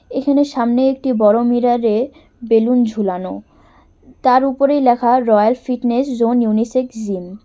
এখানে সামনে একটি বড় মিরার -এ বেলুন ঝুলানো তার উপরেই লেখা royal fitness zone unisex gym.